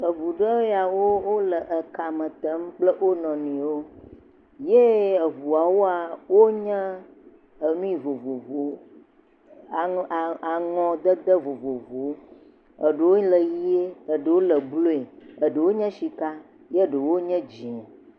Eŋu ɖe yawo wole ekame te kple wo nɔewo, ye eŋuua wonye ennui vovovowo, aŋɔ, aŋɔdede vovovowo. Eɖewo le ʋe, eɖewo le blue, eɖewo nye sika, ye eɖewo nye dzee.